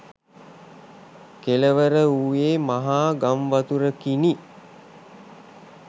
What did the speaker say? කෙළවර වූයේ මහා ගංවතුරකිනි.